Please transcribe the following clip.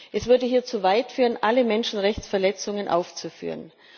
Es würde hier zu weit führen, alle Menschenrechtsverletzungen aufzuführen.